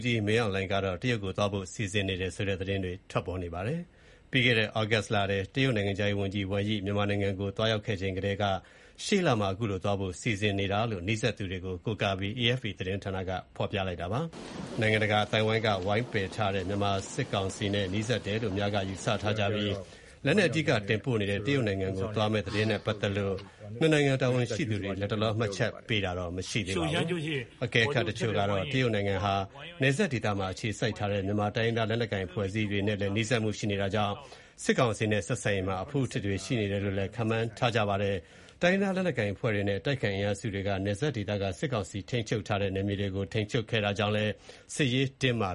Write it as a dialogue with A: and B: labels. A: ကြီး မင်းအောင်လှိုင်ဟာ ရှေ့လထဲ တရုတ်နိုင်ငံကို သွားရောက်ဖို့ စီစဉ်နေကြောင်း သတင်းတွေ ထွက်ပေါ်နေပါတယ်။ ပြီးခဲ့တဲ့ သြဂုတ်လထဲ တရုတ်နိုင်ငံခြားရေးဝန်ကြီး ဝမ်ယိ မြန်မာနိုင်ငံကို လာရောက်ခဲ့ချိန်ကတည်းက စီစဉ်နေတာ ဖြစ်ကြောင်းလည်း နီးစပ်သူတွေကို ကိုးကားပြီး AFP သတင်းဌာနက ပြောဆိုခဲ့တာပါ။ နိုင်ငံတကာ အသိုင်းအဝိုင်းက ဝိုင်းပယ်ထားတဲ့ မြန်မာစစ်ကောင်စီနဲ့ နီးစပ်တယ်လို့ အများက ယူဆထားကြပြီး၊ လက်နက်အဓိက တင်ပို့နေတဲ့ တရုတ်နိုင်ငံကို သွားမယ့် သတင်းနဲ့ ပတ်သက်လို့ ၂ နိုင်ငံ တာဝန်ရှိသူတွေ လတ်တလော မှတ်ချက်ပေး ပြောဆိုတာတော့ မရှိသေးပါဘူ
B: း။ အကဲခတ်တချို့ကတော့ တရုတ
A: ်နိုင်ငံဟာ နယ်စပ်ဒေသမှာ အခြေစိုက်ထားတဲ့ မြန်မာတိုင်းရင်းသား လက်နက်ကိုင် အဖွဲ့တွေနဲ့လည်း နီးကပ်မှုတွေရှိနေတာကြောင့် စစ်ကောင်စီနဲ့ ဆက်ဆံရေးမှာ အဖုအထစ်တွေ ရှိနေတယ်လို့လည်း ခန့်မှန်းကြပါတယ်။ တိုင်းရင်းသား လက်နက်ကိုင်အဖွဲ့တွေနဲ့ အတိုက်အခံ အင်အားစုတွေက နယ်စပ်ဒေသက စစ်ကောင်စီ ထိန်းချုပ်ထားတဲ့ နယ်မြေတွေကို ထိန်းချုပ်ခဲ့တာကြောင့်လည်း စစ်ရ
C: ေးတင်းမာ